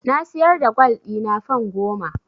Na siyar da gwal ɗina fan goma.